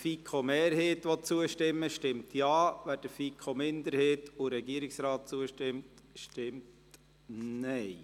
Wer der FiKo-Mehrheit zustimmen will, stimmt Ja, wer der FiKo-Minderheit und dem Regierungsrat zustimmt, stimmt Nein.